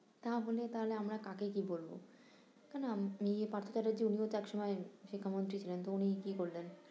তাহলে থাহলে আমরা কাকে কি বলবো, তাই না মেয়ে পার্থারের উনিও তো এক সময় শিক্ষা মন্ত্রী ছিলেন তো উনিই কি করলেন?